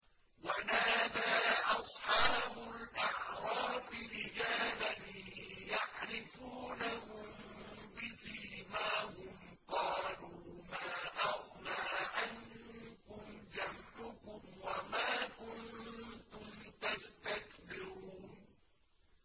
وَنَادَىٰ أَصْحَابُ الْأَعْرَافِ رِجَالًا يَعْرِفُونَهُم بِسِيمَاهُمْ قَالُوا مَا أَغْنَىٰ عَنكُمْ جَمْعُكُمْ وَمَا كُنتُمْ تَسْتَكْبِرُونَ